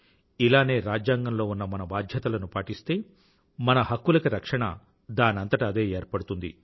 ఇలానే రాజ్యాంగంలో ఉన్న మన బాధ్యతలను పాటిస్తే మన హక్కులకి రక్షణ దానంతట అదే ఏర్పడుతుంది